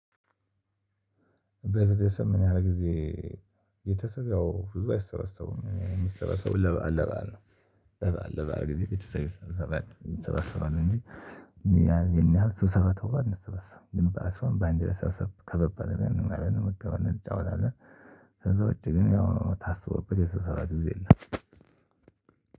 በቤተሰብ ምን ያህል ጊዜ? የቤተሰብ ብዙ አይሰበሰቡም የሚሰበሰቡት ለበአል ለበአል ነው። ለበአል ነው ጊዜ ቤተሰብ አንሰበሰባለን እንጂ ያን ያህል ስብሰባ ተብሎ አንሰበሰብም። ግን በአንድ ለመሰበሰብ ከበብ ለአድርገን እጫወታለን። ከዛ ውጪ ግን ያው ታስቦበት የስብሰባ ጊዜ የለም።